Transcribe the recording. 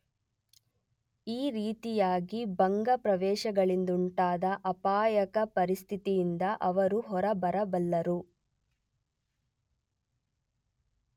ಈ ರೀತಿಯಾಗಿ ಭಗ್ನಾವಶೇಷಗಳಿಂದುಂಟಾದ ಅಪಾಯದ ಪರಿಸ್ಥಿತಿಯಿಂದ ಅವರು ಹೊರಬರಬಲ್ಲರು.